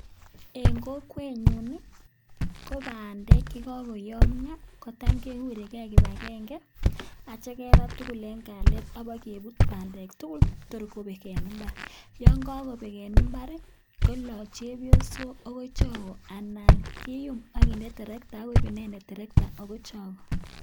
En kokwenyun ii, ko bandek che kogoyomyo kotam kegure gee kibagenge agityo keba tugul en kalyet ak kibokebut bandek tugul tor kobek en imbar. Yon kogobek en imbar ii, koloo chepyosok agoi chogo anan kiyum oginde terekta ak koib inendet terekta agoi chogo.